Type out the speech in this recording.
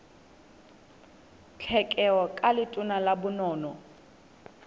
tlhekelo ka letona la bonono